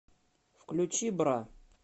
включи бра